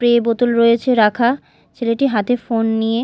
pray বোতল রয়েছে রাখা ছেলেটি হাতে ফোন নিয়ে--